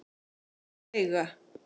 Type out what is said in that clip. Veiga